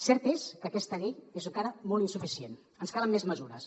cert és que aquesta llei és encara molt insuficient ens calen més mesures